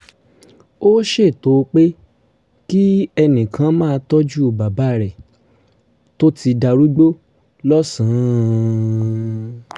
ó ṣètò pé kí ẹnì kan máa tọ́jú bàbá rẹ̀ tó ti darúgbó lọ́sàn-án